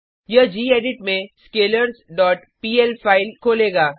यह गेडिट में scalars dot PL file इन खोलेगा